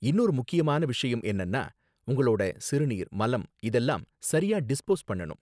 இன்னொரு முக்கியமான விஷயம் என்னன்னா, உங்களோட சிறுநீர், மலம் இதெல்லாம் சரியா டிஸ்போஸ் பண்ணனும்